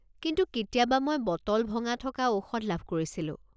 কিন্তু কেতিয়াবা মই বটল ভঙা থকা ঔষধ লাভ কৰিছিলোঁ।